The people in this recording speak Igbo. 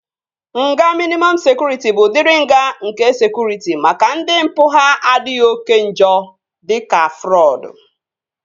Nga mịnịmọm sekụritị bụ udiri nga nke sekụritị maka ndị mpụ ha adịghị oké njọ dịka frọdụ